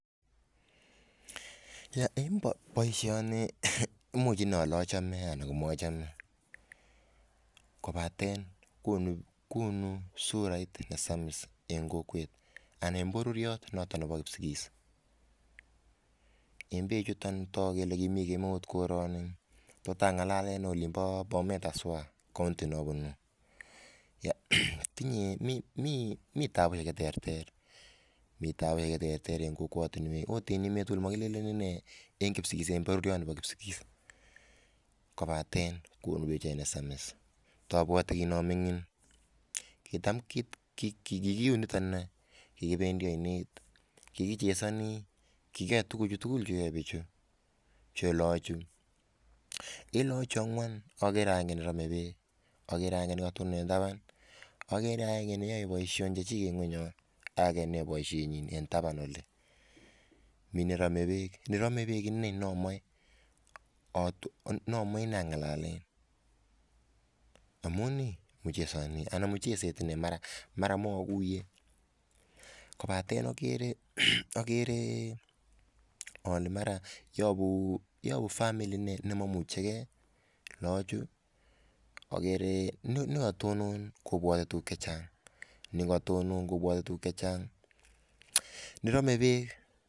En baishoni imuch ale achome anan komachem en kobaten konu surait nesamis en kokwet anan bororrii noton Nebo kipsigis en bek chuton tagu Kole kimii korani ,AK angalalennolimbo Bomet en cs county Cs neabunu akomiten tabu neterter en kokwatinwek AK en emet tugul amakilelenninei en bororie ab kipsigis kobaten kobar bichait nesamis ako abwati kemingin kokiabwati kikibendi ainet AK kechesoni Kou lochuton ako en lagok chuton angwan komiten agenge nerome bek ako age koyai baishet nanyin AK age neyae baishenyin en taban oli ako Mii nerame bek ako niton nerame bek noton amun mi mucheset en ainet mara komaiguye kobaten agere ale mara koyabu famili nemaimuche gei lochu agere nekatonon kobwate tuguk chechang AK nerame bek